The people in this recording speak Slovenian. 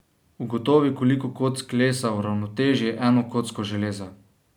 Ugotovi, koliko kock lesa uravnoteži eno kocko železa.